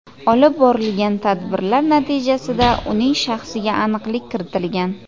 Olib borilgan tadbirlar natijasida uning shaxsiga aniqlik kiritilgan.